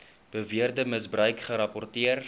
beweerde misbruik gerapporteer